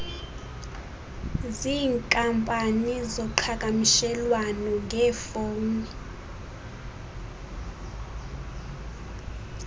ziinkampani zoqhakamshelwano ngefowuni